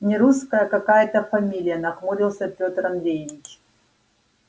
нерусская какая-то фамилия нахмурился пётр андреевич